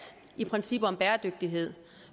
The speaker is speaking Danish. i princippet om bæredygtighed